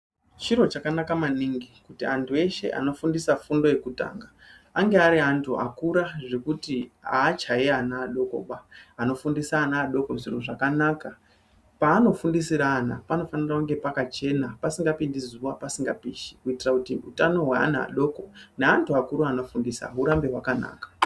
Chiro chakanaka maningi kuti antu eshe anofundisa fundo yekutanga ange ari antu akura zvekuti achayi ana adokoba, anofundisa ana adoko zviro zvakanaka panofundisira ana panofanire kunge pakachena pasingapindi zuwa pasingapishi kuitire kuti utano hweana adoko neantu akuru anofundisa hurambe hwakanaka.